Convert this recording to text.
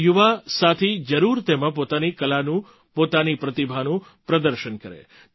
આપણા યુવાસાથી જરૂર તેમાં પોતાની કલાનું પોતાની પ્રતિભાનું પ્રદર્શન કરે